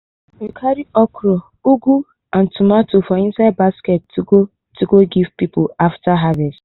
we carry okra ugu and tomatoes for inside basket to to go give people after harvest.